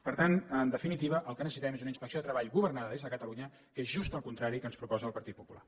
per tant en definitiva el que necessitem és una inspecció de treball governada des de catalunya que és just el contrari del que ens proposa el partit popular